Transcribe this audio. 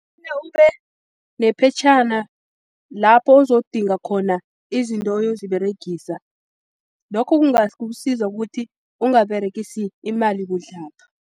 Funa ube nephetjhana lapho uzodinga khona izinto uyoziberegisa, lokho kungakusiza ukuthi ungaberegisi imali budlabha.